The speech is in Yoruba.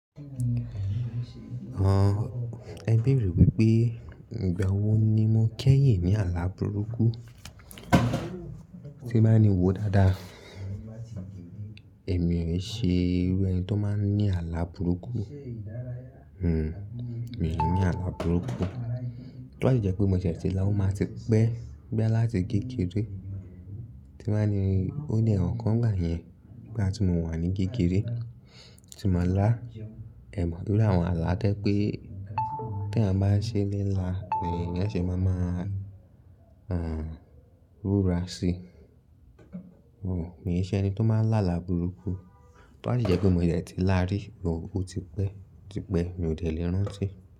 Àn, ẹ bèrè wípé ìgbà wo ni mo kẹ́yìn ní àlá burúkú. Tí bá ní wòó dáadáa, èmi ò ṣe irú ẹni tó máa ń ní àlá burúkú. Hhm, mi ò ní àlá burúkú. Tọ́ ba si jẹ́ pé mo dẹ ti lá, ó máa ti pẹ́. Bo yà láti kékeré tí bá ni ó ní àwọn n kọ̀ n gba yẹn. Ní bá ti mo wà ní kékeré tí mo ń lá, ẹ mọ̀ pé iru àwọn àlá to jẹ pé tí èèyàn bá ṣe n lá ni kí eyan ṣe máa máa rúrà si. Mi ò ṣe ẹni tó máa ń lá àlá burúkú. Tọ́ ba si jẹ́ pé mo dẹ̀ ti lá rí, ò ó ti pẹ́, ti pẹ́ mi ò dẹ̀ lè rántí.